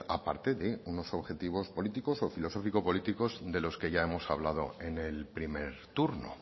aparte de unos objetivos políticos o filosóficos políticos de los que ya hemos hablado en el primer turno